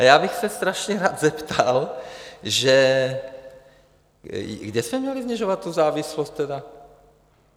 A já bych se strašně rád zeptal, že kde jsme měli snižovat tu závislost tedy?